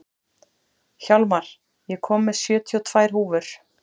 Hjarnar, ég kom með sjötíu og tvær húfur!